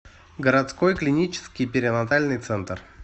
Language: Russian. городской клинический перинатальный центр